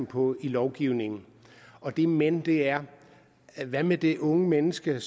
på i lovgivningen og det men er hvad med det unge menneske